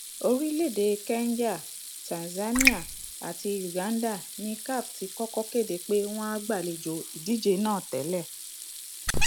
orílẹèdè kenya tanzania àti uganda ni caf ti kọkọ kéde pé wọn á gbàlejò ìdíje náà tẹlẹ